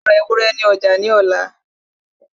Yóò ra ewúrẹ́ ní ọjà ní ọ̀la